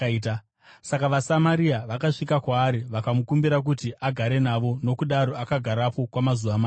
Saka vaSamaria vakasvika kwaari, vakamukumbira kuti agare navo, nokudaro akagarapo kwamazuva maviri.